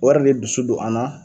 Wari ni dusu don an na